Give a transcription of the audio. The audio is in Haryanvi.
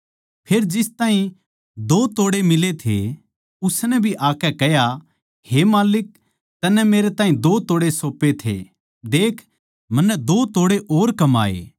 फेर जिस ताहीं दो तोड़े मिले थे उसनै भी आकै कह्या हे माल्लिक तन्नै मेरै ताहीं दो तोड़े सौप्पे थे देख मन्नै दो तोड़े और कमाए